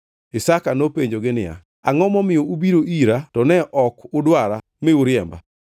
Isaka nopenjogi niya, “Angʼo momiyo ubiro ira to ne ok udwara mi uriemba?”